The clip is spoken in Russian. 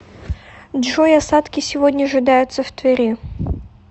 джой осадки сегодня ожидаются в твери